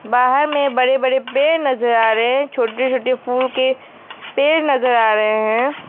बाहर में बड़े बड़े पेड़ नजर आ रहे हैं छोटे छोटे फूल के पेड़ नजर आ रहे हैं।